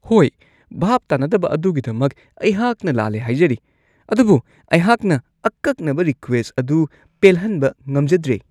ꯍꯣꯢ !ꯚꯥꯞ ꯇꯥꯅꯗꯕ ꯑꯗꯨꯒꯤꯗꯃꯛ ꯑꯩꯍꯥꯛꯅ ꯂꯥꯜꯂꯦ ꯍꯥꯏꯖꯔꯤ, ꯑꯗꯨꯕꯨ ꯑꯩꯍꯥꯛꯅ ꯑꯀꯛꯅꯕ ꯔꯤꯀ꯭ꯋꯦꯁꯠ ꯑꯗꯨ ꯄꯦꯜꯍꯟꯕ ꯉꯝꯖꯗ꯭ꯔꯦ ꯫